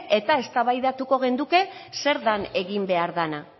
eta eztabaidatuko genuke zer den egin behar dena